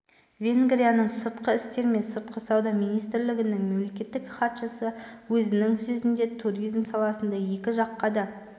венгрияның сыртқы істер мен сыртқы сауда министрлігінің мемлекеттік хатшысы өзінің сөзінде туризм саласында екі жаққа да